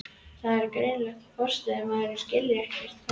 Það var greinilegt að forstöðumaðurinn skildi ekkert hvað